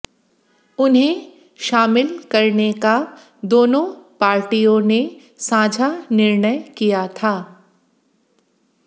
उन्हें शामिल करने का दोनों पार्टियों ने साझा निर्णय किया था